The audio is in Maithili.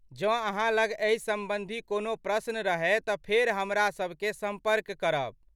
जँ अहाँ लग एहि सम्बन्धी कोनो प्रश्न रहय तऽ फेर हमरासभकेँ सम्पर्क करब।